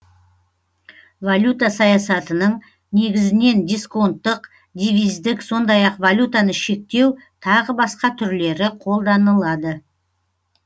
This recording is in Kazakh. валюта саясатының негізінен дисконттық девиздік сондай ақ валютаны шектеу тағы басқа түрлері қолданылады